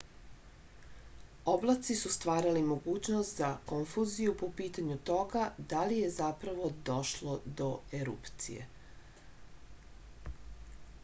oblaci su stvarali mogućnost za konfuziju po pitanju toga da li je zapravo došlo do erupcije